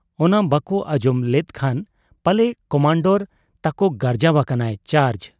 ᱚᱱᱟ ᱵᱟᱠᱚ ᱟᱸᱡᱚᱢ ᱞᱮᱫ ᱠᱷᱟᱱ ᱯᱟᱞᱮ ᱠᱚᱢᱟᱱᱰᱚᱨ ᱛᱟᱠᱚ ᱜᱟᱨᱡᱟᱣ ᱟᱠᱟᱱᱟᱭ 'ᱪᱟᱨᱡᱽ' ᱾